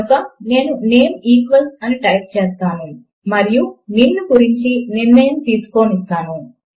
కనుక నేను name equals అని టైప్ చేస్తాను మరియు నిన్ను గురించి నిర్ణయము తీసుకోనిస్తాను